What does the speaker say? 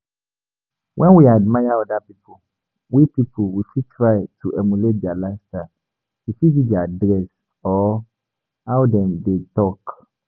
When we admire oda pipo, we pipo, we fit try to emulate their lifestyle, e fit be their dress or how dem dey talk